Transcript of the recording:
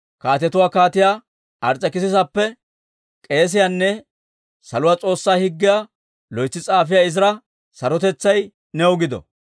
«Kaatetuwaa Kaatiyaa Ars's'ekissisappe, k'eesiyaanne saluwaa S'oossaa Higgiyaa loytsi s'afiyaa Izira, sarotetsay new gido!